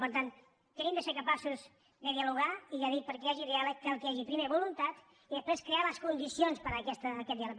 per tant hem de ser capaços de dialogar i ja dic perquè hi hagi diàleg cal que hi hagi primer voluntat i després crear les condicions per a aquest diàleg